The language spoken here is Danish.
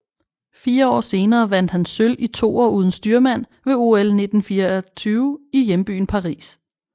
Fire år senere vandt han sølv i toer uden styrmand ved OL 1924 i hjembyen Paris